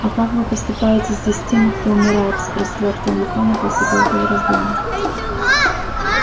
а как вы поступаете здесь с теми кто умирает спросил артем у хана после долгого раздумья